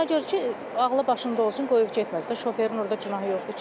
Ona görə ki, ağılı başında olsun, qoyub getməsin də, şoferin orda günahı yoxdur ki.